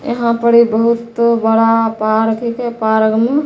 यहां पर ये बहुत बड़ा पार्क हीके पार्क में --